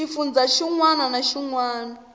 xifundzha xin wana na xin